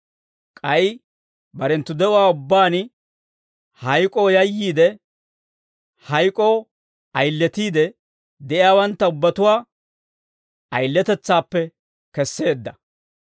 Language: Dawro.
K'ay barenttu de'uwaa ubbaan hayk'oo yayyiide, hayk'oo ayiletiide de'iyaawantta ubbatuwaa ayiletetsaappe kesseedda.